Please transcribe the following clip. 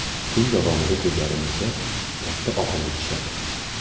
Kun davomida ko‘zlarimizga katta og‘irlik tushadi.